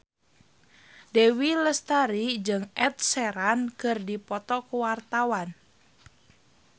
Dewi Lestari jeung Ed Sheeran keur dipoto ku wartawan